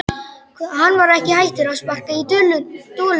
Hann var ekki hættur að sparka í dolluna!